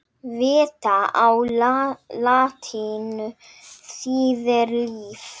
Vita á latínu þýðir líf.